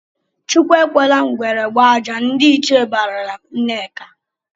"Chukwu ekwela ngwere gbaa ajị!" Ndị ichie barala Nneka.